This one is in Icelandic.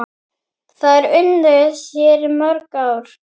Þær unnu þér mjög.